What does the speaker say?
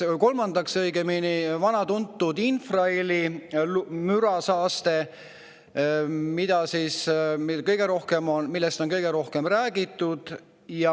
Kolmandaks, vana tuntud infraheli mürasaaste, millest on kõige rohkem räägitud.